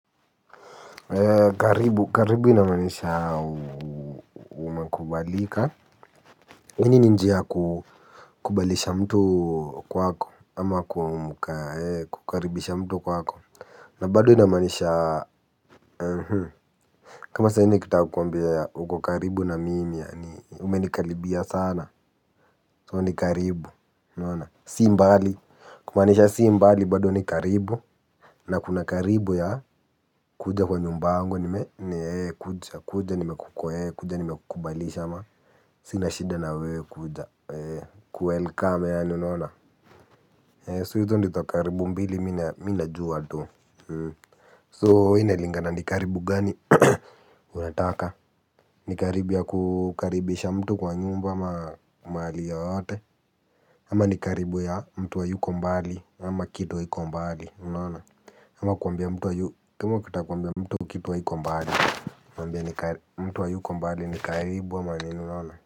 Karibu, karibu inamaanisha umekubalika yaani ninjia ya kukubalisha mtu kwako ama kukaribisha mtu kwako na bado inamaanisha kama saa hizi. Nikitaka kukuambia uko karibu na mimi yaani umenikaribia sana so ni karibu unaona si mbali kumaanisha si mbali bado ni karibu. Na kuna karibu ya kuja kwa nyumba yangu nime kuja kuja nimeku ee kuja ni mekukubalisha ama? Sina shida na wewe kuja ee kuwelcome yaani unaona, ee so hizo ndizo karibu mbili mimi ninajua tu So inalingana ni karibu gani unataka. Ni karibu ya kukaribisha mtu kwa nyumba ama mahali yoyote ama ni karibu ya mtu hayuko mbali ama kitu haiko mbali unaona ama kwambia mtu kitu haiko mbali mwambie mtu hayuko mbali ni karibu ama nini unaona.